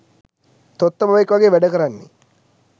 තොත්ත බබෙක් වගේ වැඩ කරන්නෙ